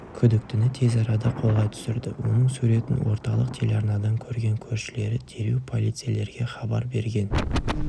күдіктіні тез арада қолға түсірді оның суретін орталық телеарнадан көрген көршілері дереу полицейлерге хабар берген